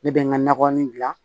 Ne bɛ n ka nagɔnin gilan